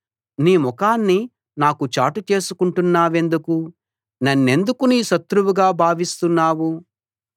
నీ ముఖాన్ని నాకు చాటు చేసుకుంటున్నావెందుకు నన్నెందుకు నీ శత్రువుగా భావిస్తున్నావు